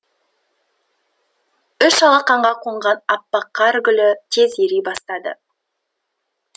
үш алақанға қонған аппақ қар гүлі тез ери бастады